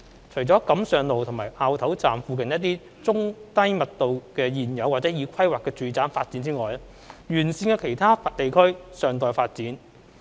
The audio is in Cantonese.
除了錦上路和凹頭站附近的一些中低密度的現有或已規劃的住宅發展外，沿線的其他地區尚待發展。